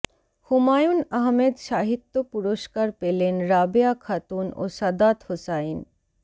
হুমায়ূন আহমেদ সাহিত্য পুরস্কার পেলেন রাবেয়া খাতুন ও সাদাত হোসাইন